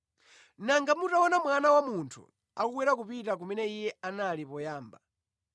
Nanga mutaona Mwana wa Munthu akukwera kupita kumene Iye anali poyamba!